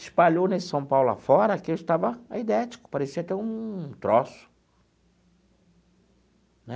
Espalhou nesse São Paulo afora que eu estava aidético, parecia ter um troço, né?